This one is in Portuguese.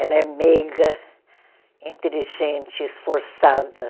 Ela é meiga, inteligente, esforçada.